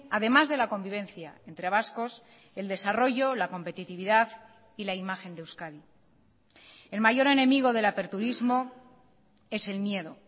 además de la convivencia entre vascos el desarrollo la competitividad y la imagen de euskadi el mayor enemigo del aperturismo es el miedo